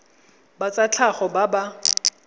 ba tsa tlhago ba ba